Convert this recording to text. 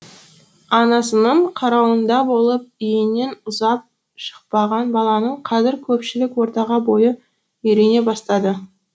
анасының қарауында болып үйінен ұзап шықпаған баланың қазір көпшілік ортаға бойы үйрене бастады